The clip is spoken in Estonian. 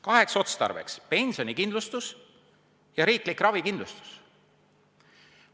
Kaheks otstarbeks: pensionikindlustus ja riiklik ravikindlustus.